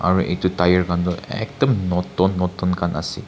aro itu tire khan toh ekdum notun notun khan ase.